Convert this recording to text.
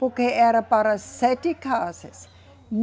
Porque era para sete casas.